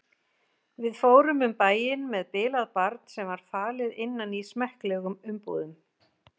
Við fórum um bæinn með bilað barn sem var falið innan í smekklegum umbúðum.